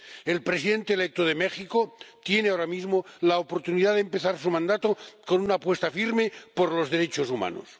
El presidente electo de México tiene ahora mismo la oportunidad de empezar su mandato con una apuesta firme por los derechos humanos.